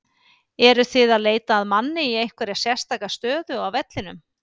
Eruð þið að leita að manni í einhverja sérstaka stöðu á vellinum?